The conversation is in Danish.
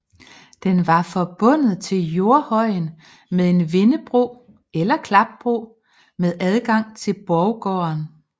Den var forbundet til jordhøjen med en vindebro eller klapbro med adgang til borggården